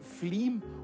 flím